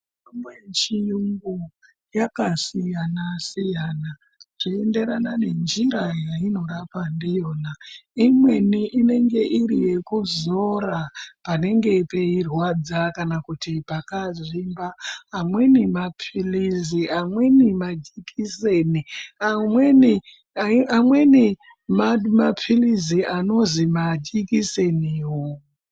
Mitombo yechiyungu yakasiyana-siyana zveienderana ngenjiravyainorapa ndiyona imweni inenge iri yekuzora panenge peirwadza kana kuti pakazvimba amweni mapilizi amweni majekiseni amweni mapilizi anozi majikiseniwo.